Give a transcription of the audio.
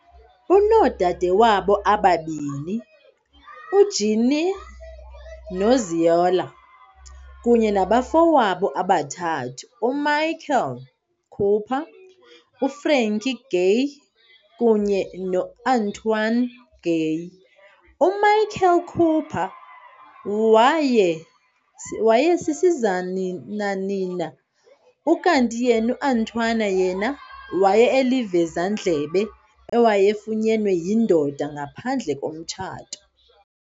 Unoodade wabo ababini- uJeanne noZeola, kunye nabafowabo abathathu- uMichael Cooper, uFrankie Gaye kunye noAntwaun Gaye. UMichael Cooper waye sisizananina, ukanti yena uAntwaun yena waye elivezandlebe ewayefunyenwe yindoda ngaphandle komtshato.